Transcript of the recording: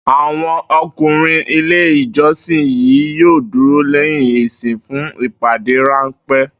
Àwo̩n o̩kùnrin ilé ìjo̩sìn yìí yóò dúró lé̩yìn ìsìn fún ìpàdé ránpé̩